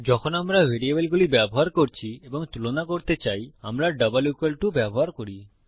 যখন আমরা ভ্যারিয়েবলগুলি ব্যবহার করছি এবং তুলনা করতে চাই আমরা ডাবল ইকুয়াল টু ব্যবহার করি